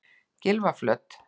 Gylfaflöt